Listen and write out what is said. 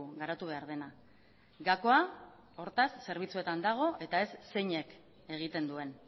garatu behar dena gakoa hortaz zerbitzuetan dago eta ez zeinek egiten duen